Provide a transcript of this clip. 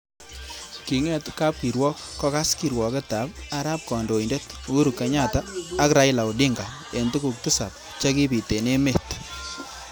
Kinget kap kirwok kokas kirwoket ab arap kandoindet Uhuru Kenyatta ak Raila Odinga eng tukuk tisab che kibit eng emet.